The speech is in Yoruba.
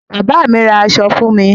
Bàbá mi ra aṣọ fún mi.